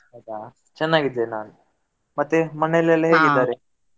ಹೌದಾ, ಚೆನ್ನಾಗಿದ್ದೇನೆ ನಾನ್. ಮತ್ತೆ ಮನೆಯಲ್ಲೆಲ್ಲ ?